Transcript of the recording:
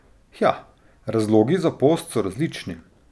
Hja, razlogi za post so različni.